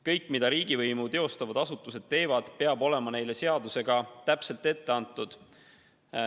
Kõik, mida riigivõimu teostavad asutused teevad, peab olema seadusega täpselt kindlaks määratud.